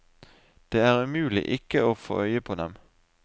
Det er umulig ikke å få øye på dem.